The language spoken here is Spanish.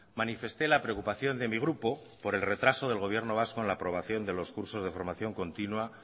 manifesté la preocupación de mi grupo por el retraso del gobierno vasco en la aprobación de los cursos de formación continua